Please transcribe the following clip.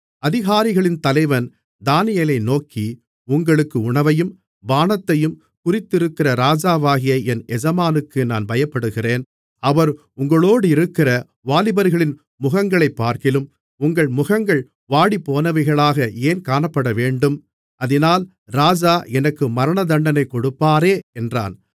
அதிகாரிகளின் தலைவன் தானியேலை நோக்கி உங்களுக்கு உணவையும் பானத்தையும் குறித்திருக்கிற ராஜாவாகிய என் எஜமானுக்கு நான் பயப்படுகிறேன் அவர் உங்களோடிருக்கிற வாலிபர்களின் முகங்களைப்பார்க்கிலும் உங்கள் முகங்கள் வாடிப்போனவைகளாக ஏன் காணப்படவேண்டும் அதினால் ராஜா எனக்கு மரணதண்டனை கொடுப்பாரே என்றான்